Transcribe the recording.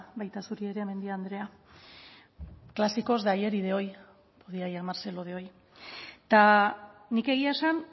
baita zuri ere mendia andrea clásicos de ayer y de hoy podía llamarse lo de hoy eta nik egia esan